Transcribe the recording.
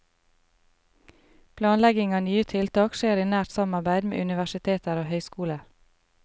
Planlegging av nye tiltak skjer i nært samarbeid med universiteter og høyskoler.